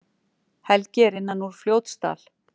Helgi er innan úr Fljótsdal.